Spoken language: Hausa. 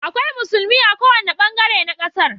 Akwai musulmia a kowane bangare na kasar